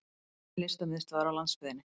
Listamiðstöðvar á landsbyggðinni!